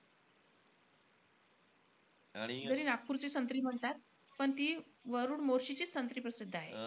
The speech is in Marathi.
जरी नागपूरची संत्री म्हणतात पण ती वरुड-मोर्शीचीच संत्री प्रसिद्ध आहे.